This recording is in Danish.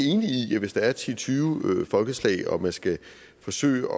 i at hvis der er ti til tyve folkeslag og man skal forsøge